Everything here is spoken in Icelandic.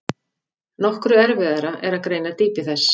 Nokkru erfiðara er að greina dýpi þess.